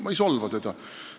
Ma ei solva teda.